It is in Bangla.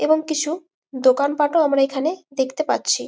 এবং কিছু দোকান পাট ও আমরা এখানে দেখতে পারছি।